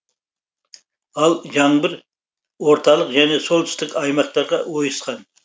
ал жаңбыр орталық және солтүстік аймақтарға ойысқан